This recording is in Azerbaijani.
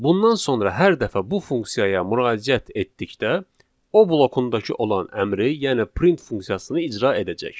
Bundan sonra hər dəfə bu funksiyaya müraciət etdikdə, o blokundakı olan əmri, yəni print funksiyasını icra edəcək.